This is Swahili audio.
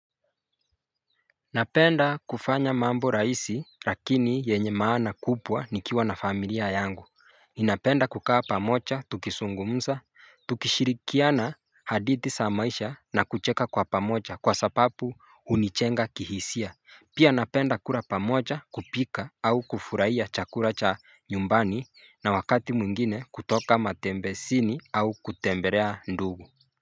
Napenda kufanya mambo rahisi lakini yenye maana kubwa nikiwa na familia yangu ninapenda kukaa pamoja tukizungumza Tukishirikiana hadithi za maisha na kucheka kwa pamoja kwa sababu hunijenga kihisia. Pia napenda kula pamoja, kupika au kufurahia chakula cha nyumbani na wakati mwingine kutoka matembezini au kutembelea ndugu.